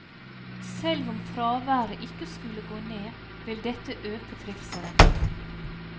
Selv om fraværet ikke skulle gå ned, vil dette øke trivselen.